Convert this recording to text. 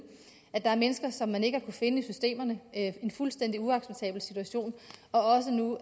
der er mennesker som man ikke har finde i systemerne en fuldstændig uacceptabel situation og nu